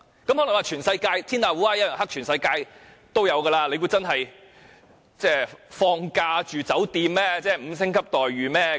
有人會說，天下烏鴉一樣黑，世界各地也會發生，難道是放假住酒店，會有5星級待遇嗎？